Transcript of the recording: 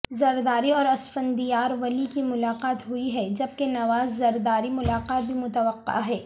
زرداری اور اسفندیار ولی کی ملاقات ہوئی ہے جبکہ نواز زرداری ملاقات بھی متوقع ہے